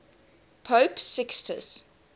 pope sixtus